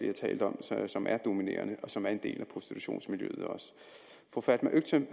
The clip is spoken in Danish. har talt om som er dominerende og som også er en del af prostitutionsmiljøet fru fatma øktem